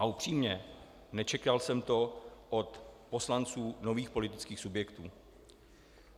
A upřímně, nečekal jsem to od poslanců nových politických subjektů.